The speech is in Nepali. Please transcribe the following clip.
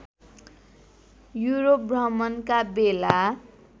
युरोप भ्रमणका बेला